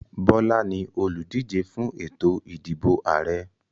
Bola ní oludije fún ètò ìdìbò Ààrẹ.